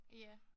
Ja